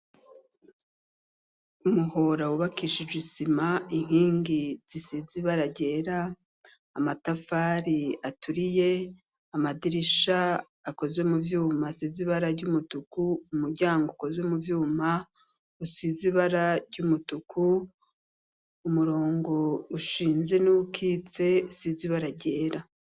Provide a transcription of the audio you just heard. Umuhora wubakishije isima inkingi zisizibara rera amatafari aturiye amadirisha akozwe mu vyuma sizibara ry'umutuku umuryango akozwe mu vyuma usizibara ry'umutuku umurongo e ushinze n'ukitse usize aragyera.